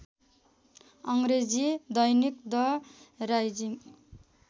अङ्ग्रेजी दैनिक the rising